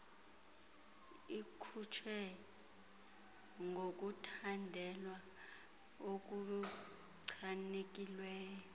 ikhutshwe ngokuthandelwa okuchanekileyo